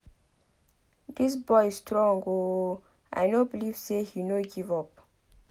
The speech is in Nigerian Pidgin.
Dis boy strong ooo I no believe say he no give up